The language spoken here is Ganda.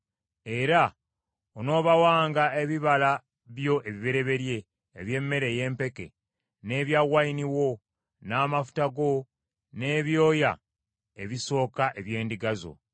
Era onoobawanga ebibala byo ebibereberye eby’emmere ey’empeke, n’ebya wayini wo, n’amafuta go, n’ebyoya ebisooka eby’endiga zo.